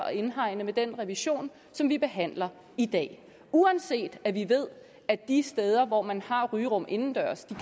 at indhegne med den revision som vi behandler i dag uanset at vi ved at de steder hvor man har rygerum indendørs